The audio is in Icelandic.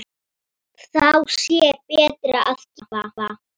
Þá sé betra að gefa.